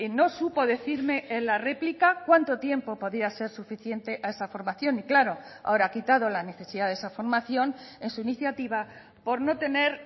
no supo decirme en la réplica cuánto tiempo podía ser suficiente a esa formación y claro ahora ha quitado la necesidad de esa formación en su iniciativa por no tener